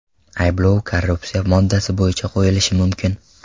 Ayblov korrupsiya moddasi bo‘yicha qo‘yilishi mumkin.